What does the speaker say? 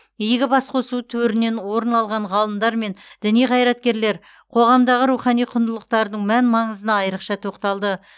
игі басқосу төрінен орын алған ғалымдар мен діни қайраткерлер қоғамдағы рухани құндылықтардың мән маңызына айрықша тоқталды